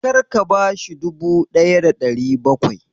Kar ka bashi dubu ɗaya da ɗari bakwai!